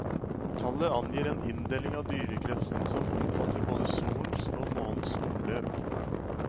Tallet angir en inndeling av dyrekretsen som omfatter både solens og månens omløp.